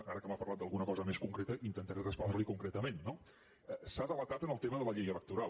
ara que m’ha parlat d’alguna cosa més concreta intentaré respondre li concretament no s’ha delatat en el tema de la llei electoral